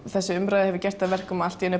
þessi umræða hefur gert að verkum að allt í einu